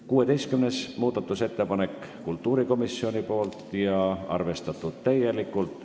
16. muudatusettepanek on kultuurikomisjonilt ja on arvestatud täielikult.